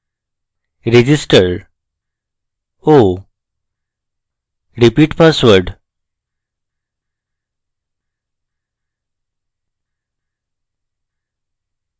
register oh repeat password